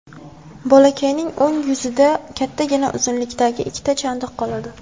Bolakayning o‘ng yuzida kattagina uzunlikdagi ikkita chandiq qoladi.